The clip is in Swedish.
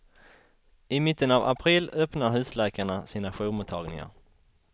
I mitten av april öppnar husläkarna sina jourmottagningar.